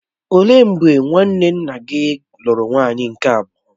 Ó lee mgbe nwanne nna gị lụrụ nwaanyị nke abụọ?